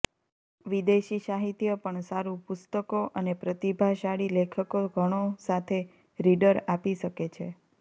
વિદેશી સાહિત્ય પણ સારું પુસ્તકો અને પ્રતિભાશાળી લેખકો ઘણો સાથે રીડર આપી શકે છે